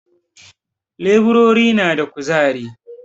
Leburori na da ƙuzari